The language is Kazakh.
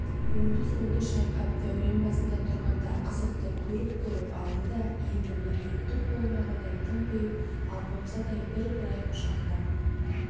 оңды-солды шайқап дәурен басында тұрғанда қызықты көріп-көріп алды да енді міне түк болмағандай тымпиып алпамсадай бір-бір бай құшақтап